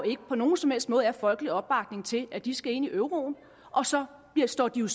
ikke på nogen som helst måde er folkelig opbakning til at de skal ind i euroen og så står de jo